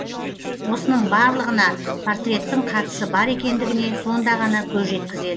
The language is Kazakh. осының барлығына портреттің қатысы бар екендігіне сонда ғана көз жеткізеді